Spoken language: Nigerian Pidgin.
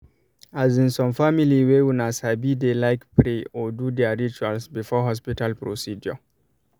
as insome family way una sabi dey like pray or do their rituals before hospital procedure